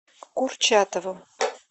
курчатову